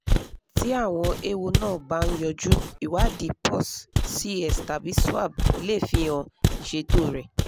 tí àwọn ewo náà bá ń yójú ìwádìí pus c s tàbí swab lè fihan ìṣètò rẹ̀